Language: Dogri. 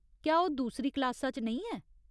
क्या ओह् दूसरी क्लासा च नेईं ऐ ?